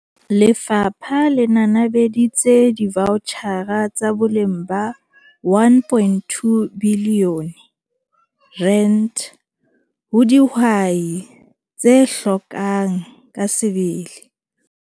Lefapha le nanabeditse divaotjhara tsa boleng ba R1.2 bilione ho dihwai tse hlokang ka sebele.